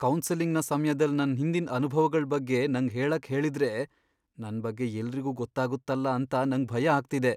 ಕೌನ್ಸೆಲಿಂಗ್ನ ಸಮ್ಯದಲ್ ನನ್ ಹಿಂದಿನ್ ಅನುಭವಗಳ್ ಬಗ್ಗೆ ನಂಗ್ ಹೇಳಕ್ ಹೇಳಿದ್ರೆ ನನ್ ಬಗ್ಗೆ ಎಲ್ರಿಗೂ ಗೊತ್ತಾಗುತ್ತಲ್ಲ ಅಂತ ನಂಗ್ ಭಯ ಆಗ್ತಿದೆ.